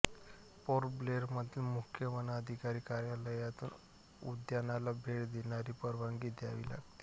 port Blair मधील मुख्य वनधिकारी कार्यालयातून उद्यानाला भेट देण्याची परवानगी घ्यावी लागते